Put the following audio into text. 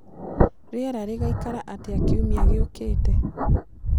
rĩera rĩgaĩkara atĩa kĩumĩa gĩũkĩte